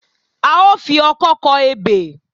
A ó fi ọkọ́ kọ ebè